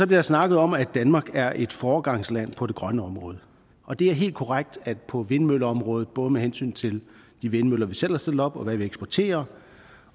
der snakket om at danmark er et foregangsland på det grønne område og det er helt korrekt at på vindmølleområdet både med hensyn til de vindmøller vi selv har stillet op og hvad vi eksporterer